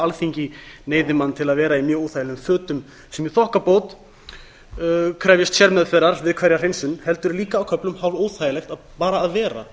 alþingi hefði mann til að vera í mjög óþægilegum fötum sem í þokkabót krefjast sérmeðferðar við hverja hreinsun heldur líka á köflum hálfóþægilegt bara að vera